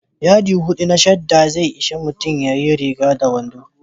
Yadi hudu na shadda zai ishi mutum ya yi riga da wando.